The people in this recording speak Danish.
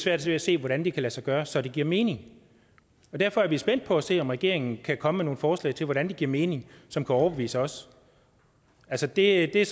svært ved at se hvordan det kan lade sig gøre så det giver mening derfor er vi spændte på at se om regeringen kan komme med nogle forslag til hvordan det giver mening som kan overbevise os altså det er